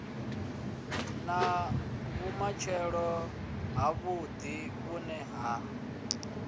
na vhumatshelo havhuḓi vhune ha